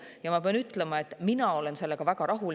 Ja ma pean ütlema, et mina olen sellega väga rahul.